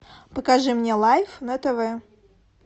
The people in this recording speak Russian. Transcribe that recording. покажи мне лайф на тв